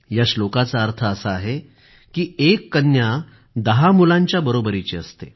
या श्लोकाचा अर्थ असा आहे की एक कन्या दहा मुलांच्या बरोबरीची असते